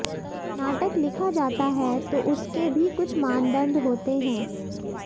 नाटक लिखा जाता है तो उसके भी कुछ मानंदड होते हैं